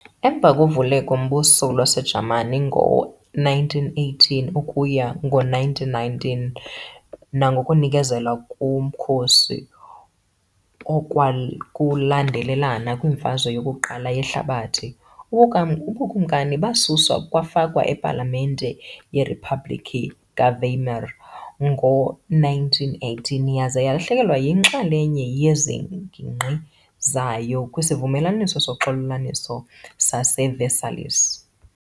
Emva koVukelo-mBuso lwaseJamani ngo-1918-1919 nangokunikezela komkhosi okwakulandelelana kwiMfazwe yoku-1 yeHlabathi, ubuKumkani basuswa kwafakwa ipalamente yeriphabhlikhi kaWeimer ngo-1918 yaza yalahlekelwa yinxalenye yeengingqi zayo kwisivumelwano soxolelwaniso saseVersailles.